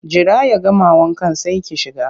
Jira ya gama wankan sai ki shiga!